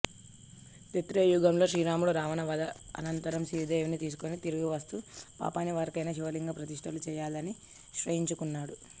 త్రేతాయుగంలో శ్రీరాముడు రావణ వధ అనంతరం సీతాదేవిని తీసుకుని తిరిగివస్తూ పాపనివారణకై శివలింగ ప్రతిష్ఠలు చెయ్యాలనినిశ్చయించుకున్నాడు